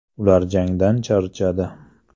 Ular jangdan charchadi.